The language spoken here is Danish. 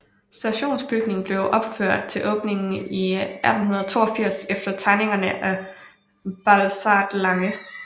Stationsbygningen blev opført til åbningen i 1882 efter tegninger af Balthazar Lange